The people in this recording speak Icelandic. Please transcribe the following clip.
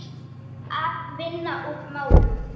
Að vinna úr málunum?